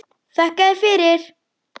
Þakka þér fyrir.